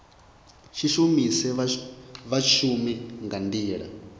si shumise vhashumi nga nḓila